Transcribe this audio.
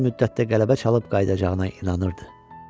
Az müddətdə qələbə çalıb qayıdacağına inanırdı.